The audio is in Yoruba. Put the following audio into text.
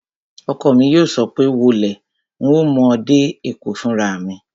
Ọkọ mi yóò sọ pé, "wọ lé, un ó mú ọ dé Èkó fúnra mi!"